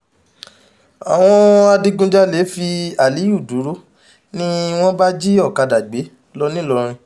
àwọn adigunjalè fi aliyu dúró ni wọ́n bá jí ọ̀kadà gbé lọ ńìlọrin